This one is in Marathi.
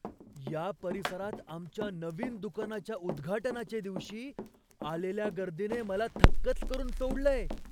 या परिसरात आमच्या नवीन दुकानाच्या उद्घाटनाच्या दिवशी आलेल्या गर्दीने मला थक्कच करून सोडलंय.